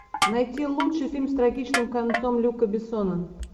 найти лучший фильм с трагичным концом люка бессона